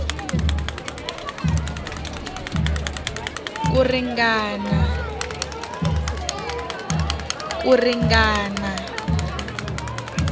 ku ringana nkarhi wo karhi